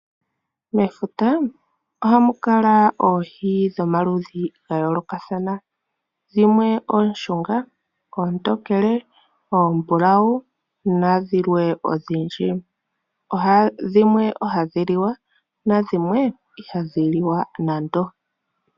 Mefuta oha mu kala oohi dhomaludhi ga yoolokathana dhimwe ooshunga, oontokele, oombulawu na dhilwe odhindji. Dhimwe ohadhi liwa nadhimwe iha dhi liwa.